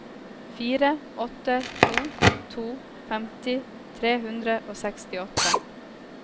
fire åtte to to femti tre hundre og sekstiåtte